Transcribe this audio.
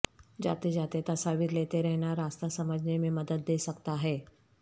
جاتے جاتے تصاویر لیتے رہنا راستہ سمجھنے میں مدد دے سکتا ہے